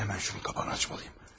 Həmən şunun qapağını açmalıyım.